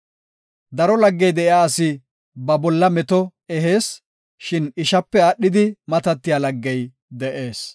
Daro laggey de7iya asi ba bolla meto ehees; shin ishape aadhidi matatiya laggey de7ees.